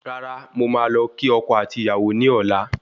Rárá, mo máa lọ kí ọkọ àti Ìyàwó ní ọ̀la